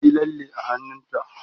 ta Yi lalle a hannunta